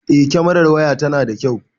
Eh kamerar waya ta tana da kyau.